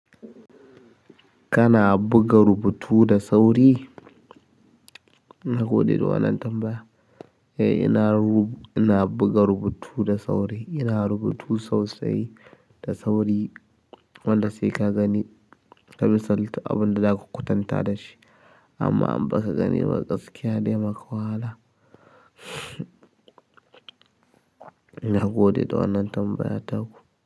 Kana buga rubutu da sauri? Na gode da wannan tambaya. Eh, ina rubu-ina buga rubutu da sauri. Ina rubutu sosai da sauri, wanda sai ka gani. Ka misalta abin da za ka kwatanta da shi amma in ba ka gani ba gaskiya ne, maka wahala. Na gode da wannan tambayar taku.